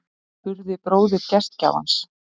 spurði bróðir gestgjafans